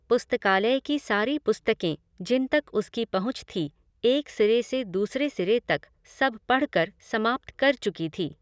पुस्तकालय की सारी पुस्तकें, जिन तक उसकी पहुँच थी, एक सिरे से दूसरे सिरे तक, सब पढ़़कर समाप्त कर चुकी थी।